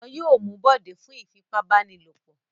Wọn yóò mú Bọ̀dé fún ìfipábánilòpọ̀.